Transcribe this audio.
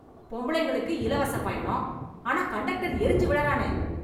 பொம்பளைங்களுக்கு இலவச பயணம், ஆனா கண்டக்டர் எறிஞ்சு விழறானே.